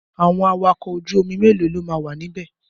Àwọn awakọ̀ ojú omi mélòó lo máa wà níbẹ̀?